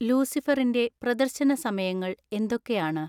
ലൂസിഫറിൻ്റെ പ്രദർശന സമയങ്ങൾ എന്തൊക്കെയാണ്